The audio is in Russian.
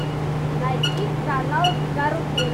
найти канал карусель